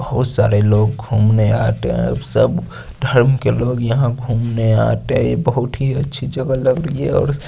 बहुत सारे लोग घूमने आते है सब ढंग के लोग यहां घूमने आते बहुत ही अच्छी जगह --